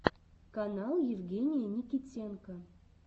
канал евгения никитенко